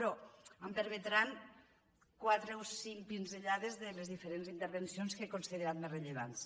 però em permetran quatre o cinc pinzellades de les diferents intervencions que he considerat més rellevants